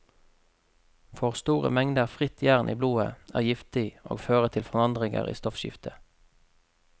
For store mengder fritt jern i blodet er giftig og fører til forandringer i stoffskiftet.